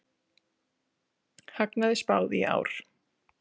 Hagnaði spáð í ár